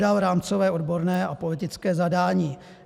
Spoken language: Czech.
Hledat rámcové, odborné a politické zadání?